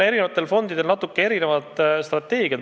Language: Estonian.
Eri fondidel on natuke erinevad strateegiad.